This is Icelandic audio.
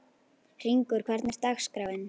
Hringur, hvernig er dagskráin?